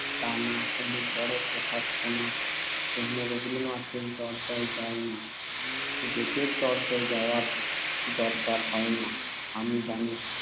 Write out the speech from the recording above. তা না হলে বড় কথা শোনার জন্য রবীন্দ্রনাথের দরজায়ও যাই না, গ্যেটের দরজায়ও যাওয়ার দরকার হয় না। আমি জানি